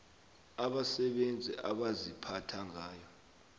abasebenzi abaziphatha ngayo